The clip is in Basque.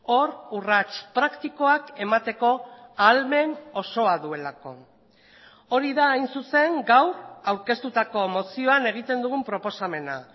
hor urrats praktikoak emateko ahalmen osoa duelako hori da hain zuzen gaur aurkeztutako mozioan egiten dugun proposamena